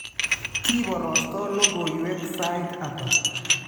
Kiporostoo logoiywek saait ata?